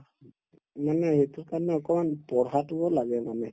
মানে সেইটোৰ কাৰণে অকমান পঢ়াতোও লাগে মানে